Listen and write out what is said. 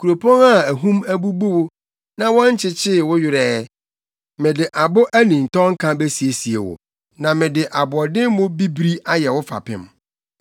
“Kuropɔn a ahum abubu wo na wɔnkyekyee wo werɛ ɛ, mede abo anintɔnka besiesie wo, na mede aboɔdemmo bibiri ayɛ wo fapem.